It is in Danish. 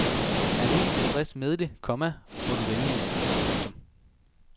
Er du ikke tilfreds med det, komma må du vælge en anden. punktum